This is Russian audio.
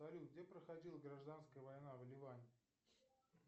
салют где проходила гражданская война в ливане